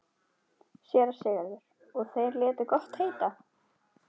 SÉRA SIGURÐUR: Og þeir létu gott heita?